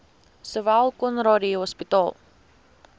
sowel conradie hospitaal